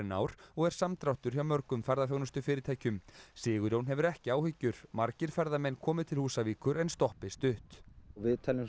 ár og er samdráttur hjá mörgum ferðaþjónustufyrirtækjum Sigurjón hefur ekki áhyggjur margir ferðamenn komi til Húsavíkur en stoppi stutt við teljum